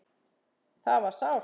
Það var sárt.